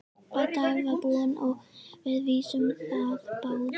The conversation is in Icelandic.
Bardaginn var búinn og við vissum það báðir.